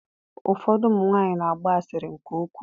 Ụfọdụ ụmụ nwaanyị na-agba asịrị nke ukwuu.